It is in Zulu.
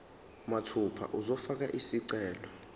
mathupha uzofaka isicelo